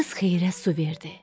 Qız xeyrə su verdi.